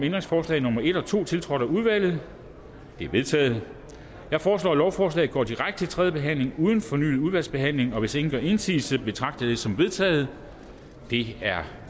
ændringsforslag nummer en og to tiltrådt af udvalget de er vedtaget jeg foreslår at lovforslaget går direkte til tredje behandling uden fornyet udvalgsbehandling hvis ingen gør indsigelse betragter jeg det som vedtaget det er